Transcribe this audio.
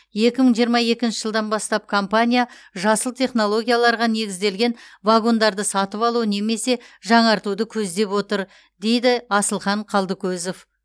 екі мың жиырма екінші жылдан бастап компания жасыл технологияларға негізделген вагондарды сатып алу немесе жаңартуды көздеп отыр дейді асылхан қалдыкозов